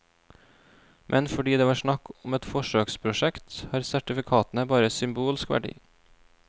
Men fordi det var snakk om et forsøksprosjekt, har sertifikatene bare symbolsk verdi.